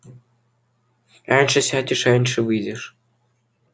раньше сядешь раньше выйдешь